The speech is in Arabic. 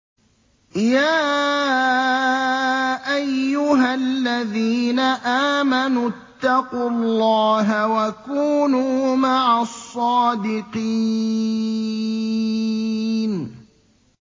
يَا أَيُّهَا الَّذِينَ آمَنُوا اتَّقُوا اللَّهَ وَكُونُوا مَعَ الصَّادِقِينَ